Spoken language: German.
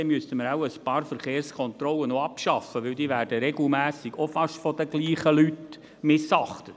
Dann müssten wir wohl noch ein paar Verkehrskontrollen abschaffen, denn diese werden regelmässig auch fast von den gleichen Leuten missachtet.